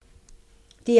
DR1